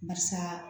Barisa